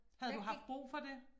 Havde du haft brug for det?